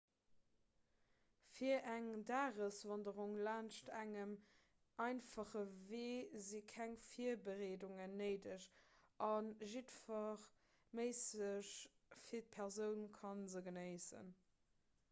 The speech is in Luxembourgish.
fir eng dageswanderung laanscht engem einfache wee si keng virbereedungen néideg a jiddwer méisseg fit persoun ka se genéissen